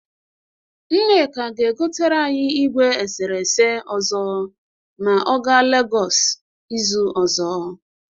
Nneka ga-egotere anyị igwe eserese ọzọ ma ọ ga Legọs izu ọzọ.